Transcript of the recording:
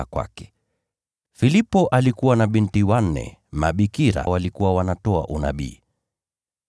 Filipo alikuwa na binti wanne mabikira waliokuwa wanatoa unabii.